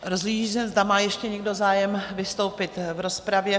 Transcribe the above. Rozhlížím se, zda má ještě někdo zájem vystoupit v rozpravě?